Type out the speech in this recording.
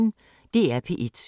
DR P1